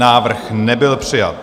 Návrh nebyl přijat.